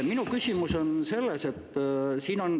Minu küsimus on selline.